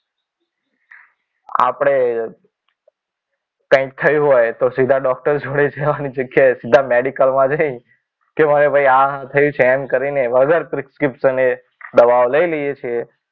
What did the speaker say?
આપણે, કંઈક થયું હોય તો સીધો ડોક્ટર જોડે જવાની જગ્યાએ સીધા મેડિકલમાં જઈ કે મને ભાઈ આ થયું છે એમ કહી વગર પ્રિસ્ક્રિપ્શન દવા લઈ લઈએ છીએ.